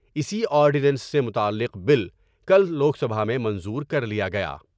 اسی آرڈینس سے متعلق بل کل لوک سبھا میں منظور کر لیا گیا ۔